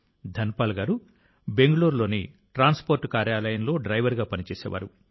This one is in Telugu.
ధనపాల్ గారు బెంగళూరులోని ట్రాన్స్పోర్ట్ కార్యాలయంలో డ్రైవర్గా పనిచేసేవారు